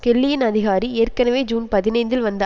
கெல்லியின் அதிகாரி ஏற்கனவே ஜூன் பதினைந்தில் வந்த